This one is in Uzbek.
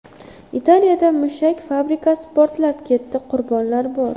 Italiyada mushak fabrikasi portlab ketdi, qurbonlar bor.